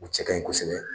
U cɛ kaɲi kosɛbɛ